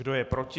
Kdo je proti?